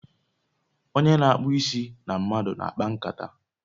Onye n'akpu isi na mmadu n'akpankata